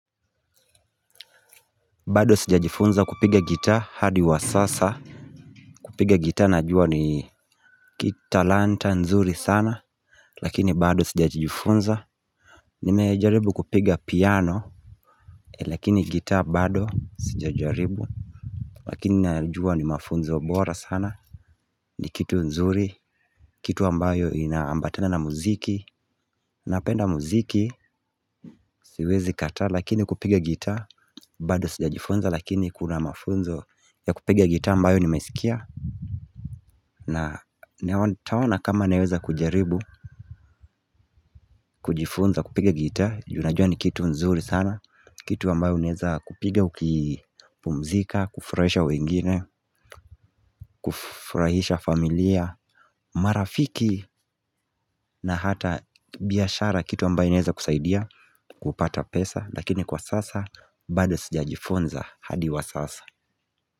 Bado sija jifunza kupiga gitaa hadi wa sasa kupiga gitaa najua ni kitalanta nzuri sana Lakini bado sija jifunza Nimejaribu kupiga piano Lakini gitaa bado sija jaribu Lakini najua ni mafunzo bora sana ni kitu nzuri Kitu ambayo inaambatana na muziki Napenda muziki siwezi kataa lakini kupiga gita bado sija jifunza lakini kuna mafunzo ya kupiga gitaa ambayo ni meskia na nitaona kama naweza kujaribu kujifunza kupiga gita, junajua ni kitu nzuri sana Kitu ambayo uneza kupiga ukipumzika, kufurahisha wengine kufurahisha familia, marafiki na hata biashara kitu ambayo inaweza kusaidia kupata pesa, lakini kwa sasa, bado sijajifunza hadi wa sasa.